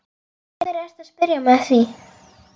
Af hverju ertu að spyrja mig að því?